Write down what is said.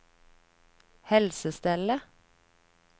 helsestellet